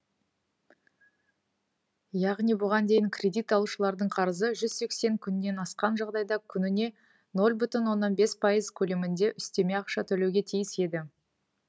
яғни бұған дейін кредит алушылардың қарызы жүз сексен күннен асқан жағдайда күніне нөл бүтін оннан бес пайыз көлемінде үстеме ақша төлеуге тиіс еді